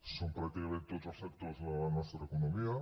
són pràcticament tots els sectors de la nostra economia